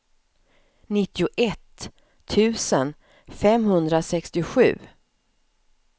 nittioett tusen femhundrasextiosju